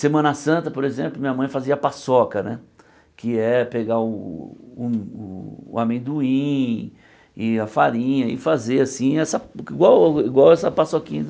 Semana Santa, por exemplo, minha mãe fazia paçoca né, que é pegar o o o amendoim e a farinha e fazer assim essa igual igual essa paçoquinha.